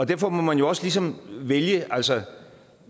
derfor må man jo også ligesom vælge altså